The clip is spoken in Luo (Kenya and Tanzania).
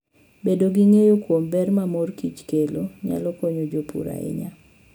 Bedo gi ng'eyo kuom ber ma mor kich kelo, nyalo konyo jopur ahinya.